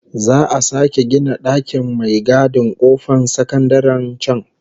Za'a sake gina dakin mai gadin kofar sakandaren can